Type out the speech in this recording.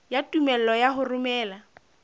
ya tumello ya ho romela